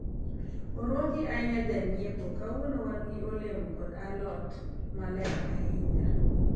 orwaki ahinya janyiepo, kawuono wan gi olemo kod alot maler ahinya